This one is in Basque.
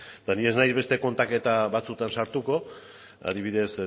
eta nik ez naiz beste kontaketa batzuetan sartuko adibidez